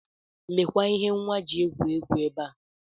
Lekwa ihe nwa ji egwu egwu ebe a.